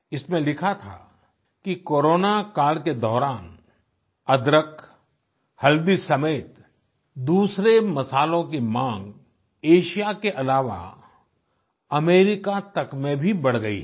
इसमें लिखा था कि कोरोना काल के दौरान अदरक हल्दी समेत दूसरे मसालों की मांग एशिया के आलावा अमेरिका तक में भी बढ़ गई है